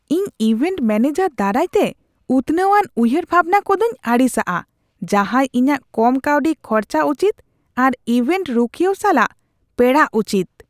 ᱤᱧ event manager ᱫᱟᱨᱟᱭᱛᱮ ᱩᱛᱱᱟᱹᱣᱟᱱ ᱩᱭᱦᱟᱹᱨ ᱵᱷᱟᱵᱱᱟ ᱠᱚᱫᱚᱧ ᱟᱹᱲᱤᱥᱟᱜᱼᱟ ᱡᱟᱦᱟᱸᱭ ᱤᱧᱟᱹᱜ ᱠᱚᱢ ᱠᱟᱹᱣᱰᱤ ᱠᱷᱚᱨᱪᱟ ᱩᱪᱤᱛ ᱟᱨ ᱤᱵᱷᱮᱱᱴ ᱨᱩᱠᱷᱤᱹᱭᱟᱹᱣ ᱥᱟᱞᱟᱜ ᱯᱮᱲᱟᱜ ᱩᱪᱤᱛ ᱾